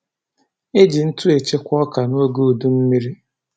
E ji ntụ echekwa ọka noge udummiri